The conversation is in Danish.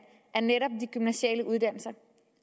af netop gymnasiale uddannelser